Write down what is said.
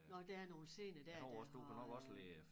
Nåh der er nogle sener dér der har øh